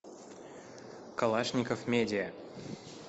калашников медиа